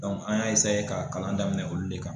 an y'a ka kalan daminɛ olu de kan